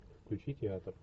включи театр